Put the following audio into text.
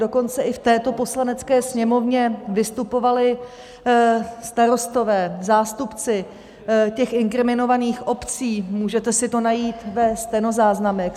Dokonce i v této Poslanecké sněmovně vystupovali starostové, zástupci těch inkriminovaných obcí - můžete si to najít ve stenozáznamech.